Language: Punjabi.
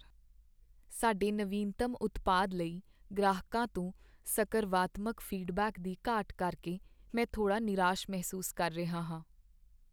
ਸਾਡੇ ਨਵੀਨਤਮ ਉਤਪਾਦ ਲਈ ਗ੍ਰਾਹਕਾਂ ਤੋਂ ਸਕਰਵਾਤਮਕ ਫੀਡਬੈਕ ਦੀ ਘਾਟ ਕਰਕੇ ਮੈਂ ਥੋੜ੍ਹਾ ਨਿਰਾਸ਼ ਮਹਿਸੂਸ ਕਰ ਰਿਹਾ ਹਾਂ।